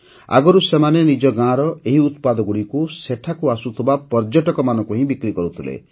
ଆଗରୁ ସେମାନେ ନିଜ ଗାଁର ଏହି ଉତ୍ପାଦଗୁଡ଼ିକୁ ସେଠାକୁ ଆସୁଥିବା ପର୍ଯ୍ୟଟକମାନଙ୍କୁ ହିଁ ବିକ୍ରି କରୁଥିଲେ